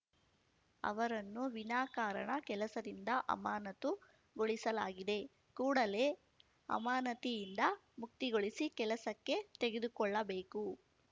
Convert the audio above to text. ಅವರನ್ನು ವಿನಾಕಾರಣ ಕೆಲಸದಿಂದ ಅಮಾನತು ಗೊಳಿಸಲಾಗಿದೆ ಕೂಡಲೇ ಅಮಾನತಿಯಿಂದ ಮುಕ್ತಿಗೊಳಿಸಿ ಕೆಲಸಕ್ಕೆ ತೆಗೆದುಕೊಳ್ಳಬೇಕು